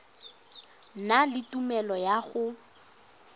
na le tumelelo ya go